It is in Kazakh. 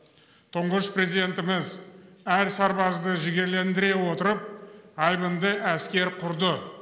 тұңғыш президентіміз әр сарбазды жігерлендіре отырып айбынды әскер құрды